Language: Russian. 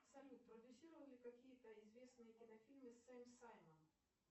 салют продюсировал ли какие то известные кинофильмы сэм саймон